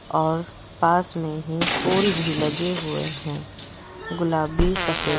और पास में ही फूल भी लगे हुए हैं गुलाबी सफेद।